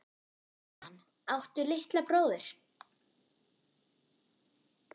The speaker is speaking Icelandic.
Jóhann: Áttu litla bróðir?